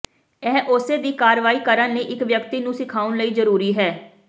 ਇਹ ਉਸੇ ਦੀ ਕਾਰਵਾਈ ਕਰਨ ਲਈ ਇੱਕ ਵਿਅਕਤੀ ਨੂੰ ਸਿਖਾਉਣ ਲਈ ਜ਼ਰੂਰੀ ਹੈ